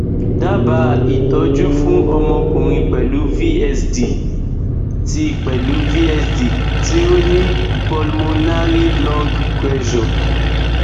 daba itoju fun omokunrin pelu vsd ti pelu vsd ti o ni pulmonary lung pressure